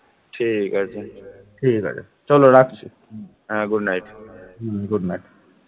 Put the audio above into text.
ঠিক আছে ঠিক আছে চল রাখছি হ্যাঁ good night হুম good night